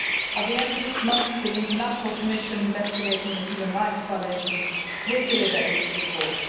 At the end of this month, the International Commission investigating the human rights violations will deliver its report.